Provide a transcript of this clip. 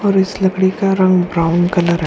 और इस लकड़ी का रंग ब्राउन कलर है।